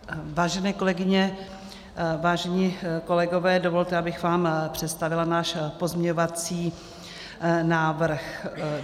Vážené kolegyně, vážení kolegové, dovolte, abych vám představila náš pozměňovací návrh.